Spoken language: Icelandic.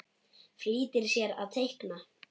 Flýtir sér að teikna.